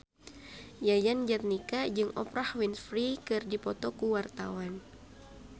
Yayan Jatnika jeung Oprah Winfrey keur dipoto ku wartawan